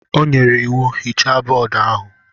O nyere iwu, hichaa bọọdụ ahụ?